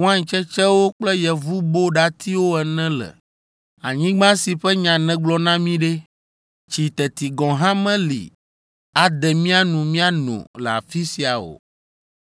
wain tsetsewo kple yevuboɖatiwo ene le. Anyigba si ƒe nya nègblɔ na mí ɖe? Tsi teti gɔ̃ hã meli ade mía nu míano le afi sia o!”